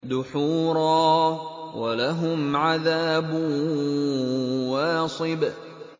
دُحُورًا ۖ وَلَهُمْ عَذَابٌ وَاصِبٌ